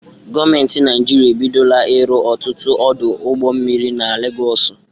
Gọọmenti Naijiria ebidola ịrụ ọtụtụ ọdụ ụgbọ mmiri na Legọọsụ.